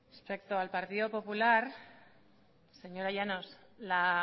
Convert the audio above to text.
respecto al partido popular señora llanos la